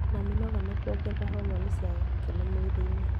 Na mĩnoga na kuongerera homoni cia gĩkeno mwĩrĩ-inĩ.